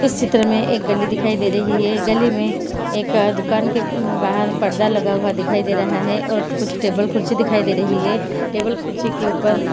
इस चित्र में एक गली दिखाई दे रही है गली में एक दुकान के बाहर पर्दा लगा हुआ दिखाई दे रहा है और कुछ टेबल कुर्सी दिखाई दे रही है टेबल कुर्सी के ऊपर --